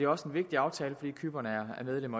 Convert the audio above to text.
også en vigtig aftale fordi cypern er medlem